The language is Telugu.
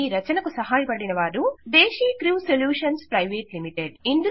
ఈ రచనకు సహాయపడిన వారు దేశీక్ర్యూ సొల్యూషన్స్ ప్రైవేట్ లిమిటెడ్